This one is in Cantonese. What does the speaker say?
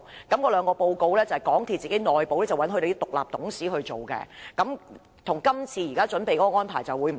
該兩份報告是港鐵內部的獨立董事撰寫，跟這次要求的安排不同。